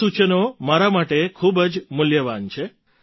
આ સુઝાવ મારા માટે ખૂબ જ મૂલ્યવાન છે